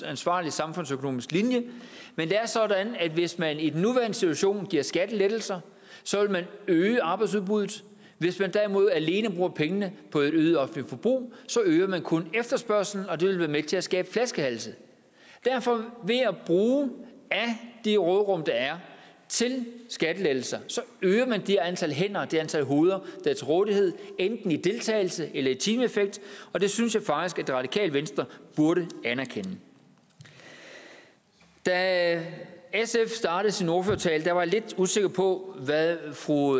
ansvarlig samfundsøkonomisk linje men det er sådan at hvis man i den nuværende situation giver skattelettelser så vil man øge arbejdsudbuddet hvis man derimod alene bruger pengene på et øget offentligt forbrug øger man kun efterspørgslen og det vil være med til at skabe flaskehalse derfor ved at bruge af det råderum der er til skattelettelser øger man det antal hænder og det antal hoveder der er til rådighed enten i deltagelse eller i timeeffekt og det synes jeg faktisk at det radikale venstre burde anerkende da sf startede sin ordførertale var jeg lidt usikker på hvad fru